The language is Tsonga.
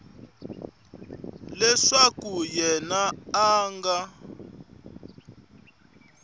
leswaku yena a a nga